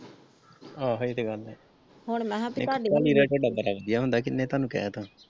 ਆਹੋ ਇਹ ਤੇ ਗੱਲ ਹੈ ਕਿੰਨੇ ਤੁਹਾਨੂੰ ਕਹਿਤਾ ।